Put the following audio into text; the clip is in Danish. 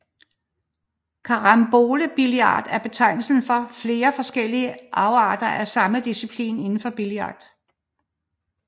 Carambolebillard en betegnelse for flere forskellige afarter af samme disciplin indenfor billard